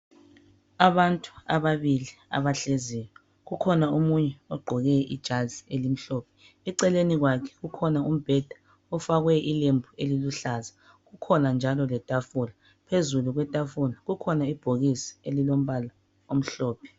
Abantu ababili abahleziyo kukhona omunye ogqoke ijazi elimhlophe eceleni kwakhe kukhona umbheda ufakwe ilembu ililuhlaza kukhona njalo letafula, phezulu kwetafula kukhona ibhokisi elilombala omhlophe